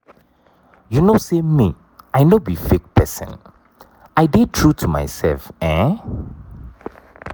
you know say me i no be fake person i dey true to myself um.